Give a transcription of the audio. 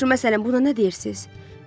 Yaxşı, məsələn, buna nə deyirsiz?